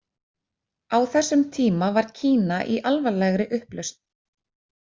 Á þessum tíma var Kína í alvarlegri upplausn.